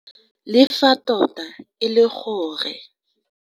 Le fa tota e le gore.